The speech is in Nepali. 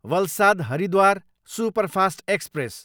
Valsad, Haridwar superfast express